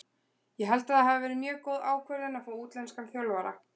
Ég held að það hafi verið mjög góð ákvörðun að fá útlenskan þjálfara.